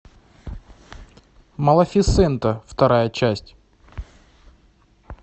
малефисента вторая часть